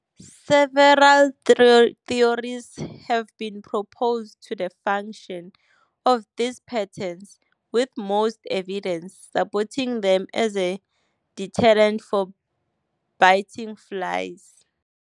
Several theories have been proposed to the function of these patterns, with most evidence supporting them as a deterrent for biting flies.